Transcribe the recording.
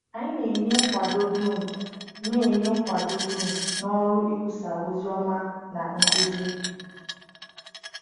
Anyị na-enye nkwado dum na-enye nkwado dum n’ọrụ ikwusa ozi ọma na nkuzi?